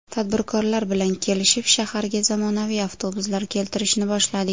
Tadbirkorlar bilan kelishib, shaharga zamonaviy avtobuslar keltirishni boshladik.